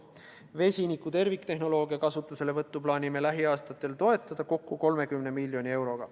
Vesiniku terviktehnoloogia kasutuselevõttu plaanime lähiaastatel toetada kokku 30 miljoni euroga.